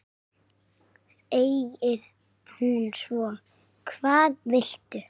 segir hún svo: Hvað viltu?